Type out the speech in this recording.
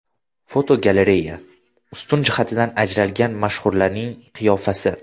Fotogalereya: Ustun jihatidan ajralgan mashhurlarning qiyofasi.